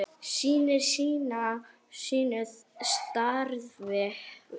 Sinnir sínu starfi.